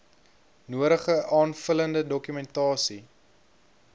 nodige aanvullende dokumentasie